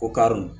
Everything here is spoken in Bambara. O karɔ